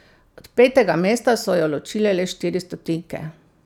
Od petega mesta so jo ločile le štiri stotinke.